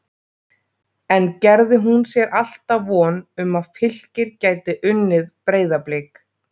En gerði hún sér alltaf von um að Fylkir gæti unnið Breiðablik?